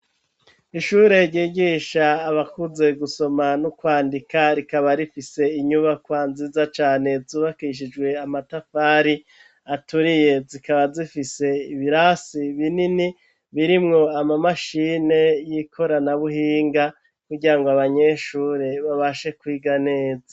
Ishure ryigisha abakuze gusoma nu kwandika rikaba rifise inyubakwa nziza cane zubakishijwe amatafari aturiye ,zikaba zifise ibirasi binini birimwo ama mashini yi korana buhinga kugirango abanyeshure babashe kwiga neza.